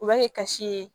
U b'a kɛ kasi ye